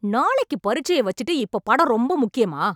நாளைக்கு பரீட்சைய வச்சுட்டு இப்போ படம் ரொம்ப முக்கியமா?